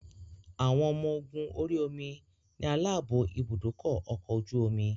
Àwọn ọmọ ogún orí omi ni aláàbò ibùdókọ̀ ọkọ̀ ojú omi